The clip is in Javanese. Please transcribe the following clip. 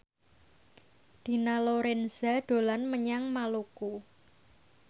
Dina Lorenza dolan menyang Maluku